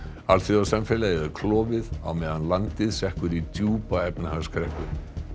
alþjóðasamfélagið er klofið á meðan landið sekkur í djúpa efnahagskreppu